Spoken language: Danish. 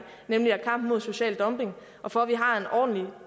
nemlig at kampen mod social dumping og for at vi har en ordentlig